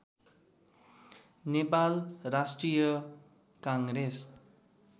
Nepal Rashtriya Congress